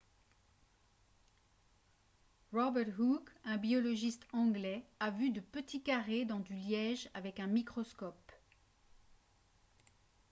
robert hooke un biologiste anglais a vu de petits carrés dans du liège avec un microscope